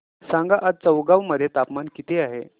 सांगा आज चौगाव मध्ये तापमान किता आहे